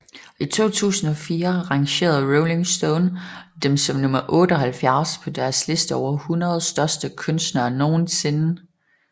I 2004 rangerede Rolling Stone dem som nummer 78 på deres liste over 100 største kunstnere nogensinde